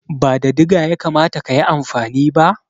Ba da diga ya kamata ka yi amfani ba?